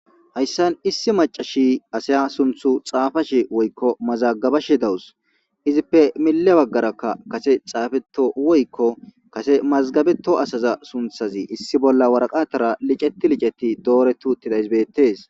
hayssan issi macashi asaya sunthu xaafashi woykko mazagabashi dawus izippe mille baggarakka kase xaafeto woykko kase mazgabeto asaza sunthazi issi bolla waraqatara liceti licetti dooretu tilaysbeettes